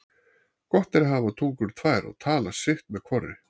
Gott er að hafa tungur tvær og tala sitt með hvorri.